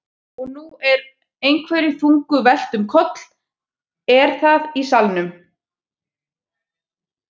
Og nú er einhverju þungu velt um koll. er þetta í salnum?